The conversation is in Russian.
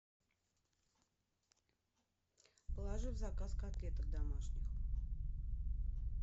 положи в заказ котлеток домашних